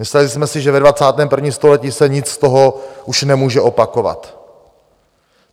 Mysleli jsme si, že ve 21. století se nic z toho už nemůže opakovat.